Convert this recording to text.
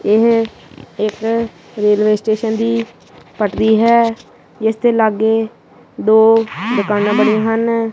ਇਹ ਇੱਕ railway station ਦੀ ਪਟਰੀ ਹੈ ਇਸ ਦੇ ਲਾਗੇ ਦੋ ਦੁਕਾਨਾਂ ਬਣੀਆਂ ਹਨ।